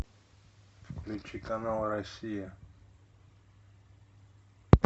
включи канал россия